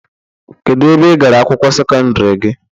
Kedụ ebe igara akwụkwọ sekọndiri gị?